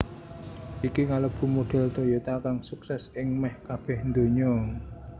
Iki kalebu modhel Toyota kang sukses ing meh kabeh ndonya